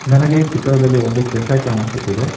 ನನಗೆ ಈ ಚಿತ್ರದಲ್ಲಿ ಒಂದು ಕೆಫೆ ಕಾಣಿಸುತ್ತಿದೆ.